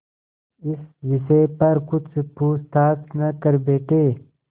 इस विषय पर कुछ पूछताछ न कर बैठें